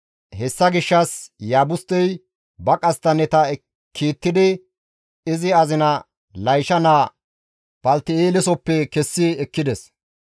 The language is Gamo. Hessa gishshas Iyaabustey ba qasttanneta kiittidi izi azina Laysha naa Palti7eelesoppe kessi ekkides.